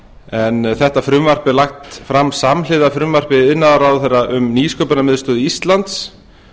en þetta frumvarp er lagt fram samhliða frumvarpi iðnaðarráðherra um nýsköpunarmiðstöð íslands